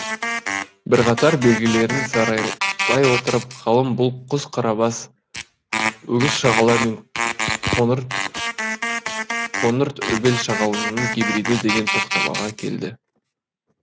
бірқатар белгілерін саралай отырып ғалым бұл құс қарабас өгіз шағала мен қоңыртөбел шағаланың гибриді деген тоқтамаға келді